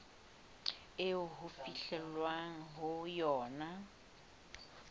eo ho fihlwang ho yona